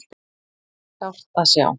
Sárt að sjá